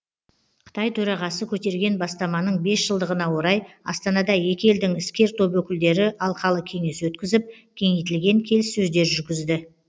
қытай төрағасы көтерген бастаманың бес жылдығына орай астанада екі елдің іскер топ өкілдері алқалы кеңес өткізіп кеңейтілген келіссөздер жүргізді